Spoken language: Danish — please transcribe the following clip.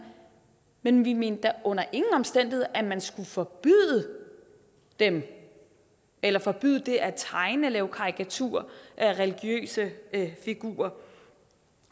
men vi mente da under ingen omstændigheder at man skulle forbyde dem eller forbyde det at tegne og lave karikaturer af religiøse figurer